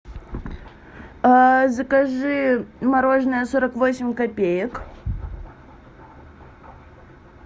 закажи мороженое сорок восемь копеек